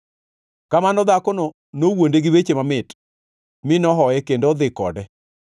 Kamano, dhakono nowuonde gi weche mamit; mi nohoye kendo odhi kode.